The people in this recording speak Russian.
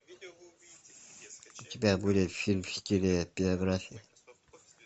у тебя будет фильм в стиле биография